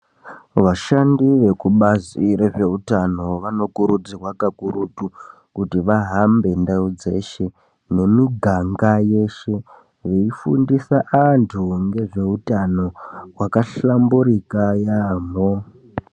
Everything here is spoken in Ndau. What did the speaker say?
Vashandi vekubazi rezvehutano vanokurudzirwa kakurutu kuti vahambe ndau dzeshe nemiganga yeshe veifundisa antu ngezveutano hwakahlamburika yaamho.